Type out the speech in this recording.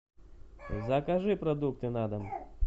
закажи продукты на дом